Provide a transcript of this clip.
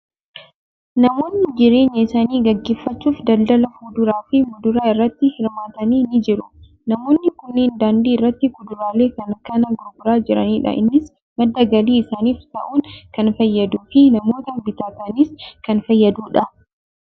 Namoonni jireenya isaanii gaggeeffachuuf daldala fuduraa fi muduraa irratti hirmaatan ni jiru. Namoonni kunneen daandii irratti kuduraalee kana kan gurguraa jiranidha. Innis madda galii isaaniif ta'uun kan fayyaduu fi namoota bitatanis kan fayyadudha.